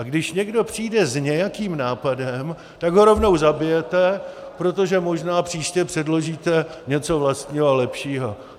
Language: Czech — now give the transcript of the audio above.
A když někdo přijde s nějakým nápadem, tak ho rovnou zabijete, protože možná příště předložíte něco vlastního a lepšího.